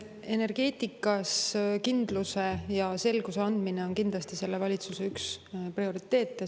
Energeetikas kindluse ja selguse andmine on kindlasti üks selle valitsuse prioriteete.